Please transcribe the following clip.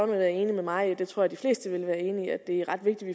vil være enig med mig i og det tror jeg de fleste vil være enig i at det er ret vigtigt